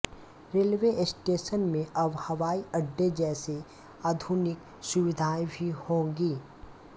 railway station में अब हवाई अड्डे जैसी आधुनिक सुविधाएं भी होंगी